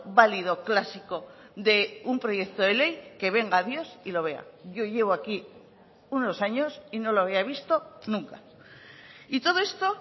válido clásico de un proyecto de ley que venga dios y lo vea yo llevo aquí unos años y no lo había visto nunca y todo esto